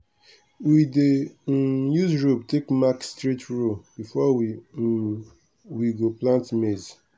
we dey um use rope take mark straight row before um we go plant maize.